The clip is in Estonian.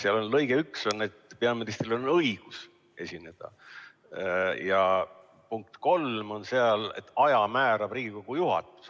Seal on kirjas, et peaministril on õigus esineda, ja lõikes 3 on öeldud, et aja määrab Riigikogu juhatus.